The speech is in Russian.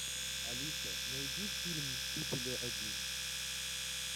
алиса найди фильм мстители один